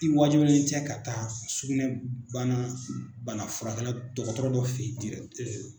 I waajibilen tɛ ka taa sugunɛbana banafurakɛla dɔgɔtɔrɔ dɔ fɛ ye